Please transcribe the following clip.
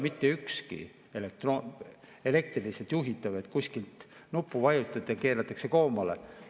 Mitte ükski neist ei ole elektrooniliselt juhitav, et vajutate kuskil nuppu ja keeratakse koomale.